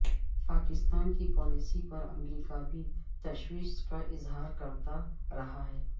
پاکستان کی پالیسی پر امریکہ بھی تشویش کا اظہار کرتا رہا ہے